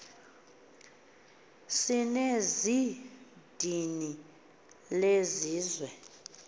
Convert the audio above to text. sinenz idini lesizwe